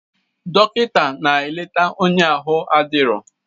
Dọkịta na-eleta onye ahụ adirọ.